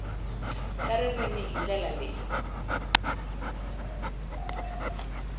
ta ririmi hi ndlela leyi